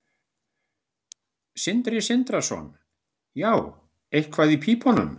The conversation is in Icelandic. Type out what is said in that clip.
Sindri Sindrason: Já, eitthvað í pípunum?